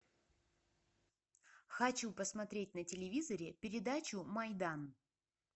хочу посмотреть на телевизоре передачу майдан